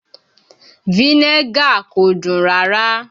Vinegar kò dùn rárá